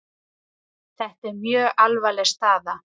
Þetta er mjög alvarleg staða